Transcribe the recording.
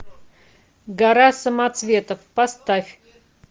гора самоцветов поставь